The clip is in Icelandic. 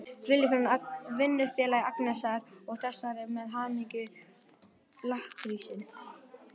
Vinnufélagi Agnesar og þessi með hamingju-lakkrísinn!